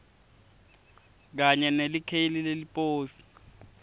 kanye nelikheli leliposi